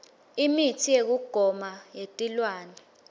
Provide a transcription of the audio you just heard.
imitsi yekugoma yetilwane